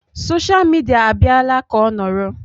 Sosha midia abịala ka ọ nọrọ.